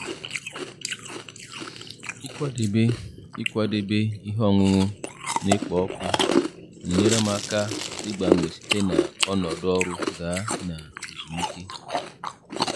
Ịkwadebe Ịkwadebe ihe ọṅụṅụ na-ekpo ọkụ na-enyere m aka ịgbanwe site na ọnọdụ ọrụ gaa na ezumike.